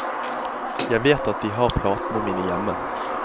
Jeg vet at de har platene mine hjemme.